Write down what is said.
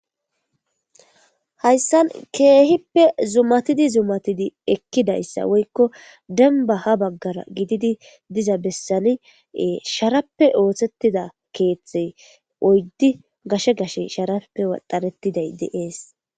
hayssan keehippe zumatidi zumatidi ekkidayssa woykko denba ha baggara gididi diza bessani sharappe ooththettida keeththey oyddi gashe gashe sharappe waxaretiday deees